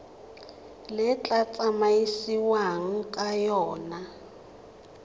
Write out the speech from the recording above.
le tla tsamaisiwang ka yona